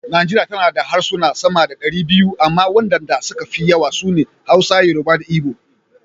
Najeriya tana da harsuna sama da dari biyu amma wadanda suka fi yawa su ne; Hausa, Yoruba da Igbo.